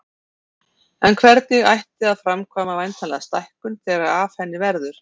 En hvernig ætti að framkvæma væntanlega stækkun þegar af henni verður.